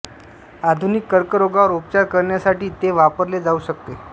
आधुनिक कर्करोगावर उपचार करण्यासाठी ते वापरले जाऊ शकते